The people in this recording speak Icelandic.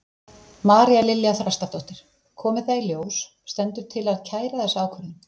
María Lilja Þrastardóttir: Komi það í ljós, stendur til að kæra þessa ákvörðun?